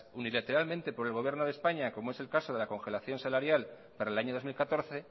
unilateralmente por el gobierno de españa como es el caso de la congelación salarial para el año dos mil catorce